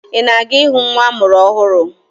Ị na-aga ịhụ nwa amụrụ ọhụrụ?